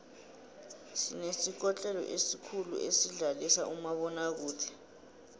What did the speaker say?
sinesikotlelo esikhulu esidlalisa umabonakude